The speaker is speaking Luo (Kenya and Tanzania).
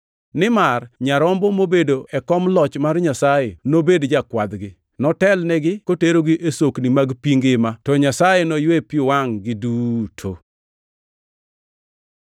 Nimar Nyarombo mobedo e kom loch mar Nyasaye nobed jakwadhgi; notelnigi koterogi e sokni mag pi ngima, to Nyasaye noywe pi wangʼ-gi duto.” + 7:17 \+xt Isa 49:10; 25:8\+xt*